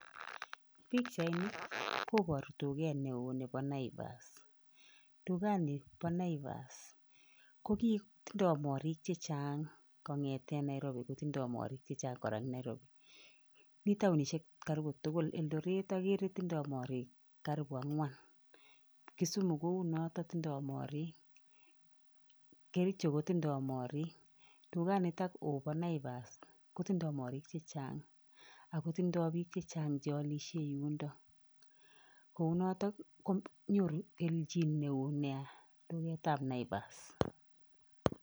Pikchaini koboru duket neo nepo Naivas. Dukanipo Naivas ko ki tindoi morik chechang kong'ete Nairobi kotindoi morik chechang kora eng Nairobi. Mi taonishek karibu tukul. Eldoret akere tindoi morik karibu ang'wan Kisumu kou noto tindoi morik, Kericho kotindoi morik. Dukanitok oo po Naivas kotindoi morik chechang akotindoi biik chechang chealishe yundo. Kou noto konyoru kelchin neo nea duketap Naivas.